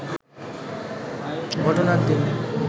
ঘটনার দিন